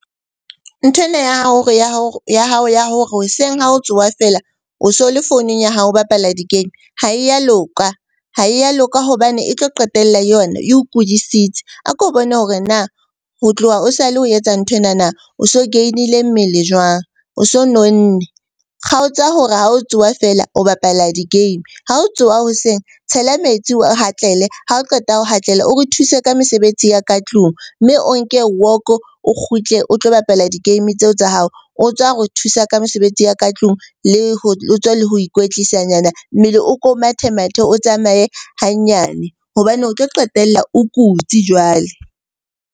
Nthwena ya hao ya hao ya hore hoseng ha o tsoha feela o so le founung ya hao ho bapala di-game ha e ya loka. Ha e ya loka hobane e tlo qetella yona e o kudisitse. A ko bone hore na ho tloha o sale o etsa nthwenana o so gain-ile mmele jwang, o so nonnne. Kgaotsa hore ha o tsoha feela o bapala di-game, ga o tsoha hoseng tshela metsi o ha o qeta ho o re thuse ka mesebetsi ya ka tlung. Mme o nke walk-o o kgutle o tlo bapala di-game tseo tsa hao. O tswa re thusa ka mosebetsi ya ka tlung o tswa le ho ikwetlisa nyana. Mmele o ko mathe-mathe, o tsamaye hanyane hobane o tlo qetella o kutsi jwale.